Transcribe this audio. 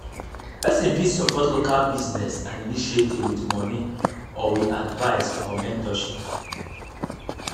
persin fit support local business and initiative with money or with advice or mentorship